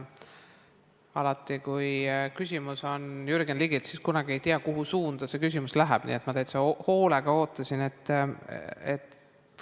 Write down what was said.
Alati, kui küsimus on Jürgen Ligilt, siis kunagi ei tea, kuhu suunda see küsimus läheb, nii et ma täitsa hoolega ootasin.